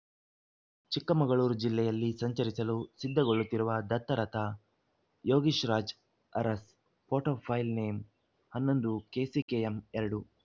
ಚಿಕ್ಕಮಗಳೂರು ಜಿಲ್ಲೆಯಲ್ಲಿ ಸಂಚರಿಸಲು ಸಿದ್ಧಗೊಳ್ಳುತ್ತಿರುವ ದತ್ತ ರಥ Yogish Raj Aras photo file name ಹನ್ನೊಂದು ಕೆಸಿಕೆಎಂ ಎರಡು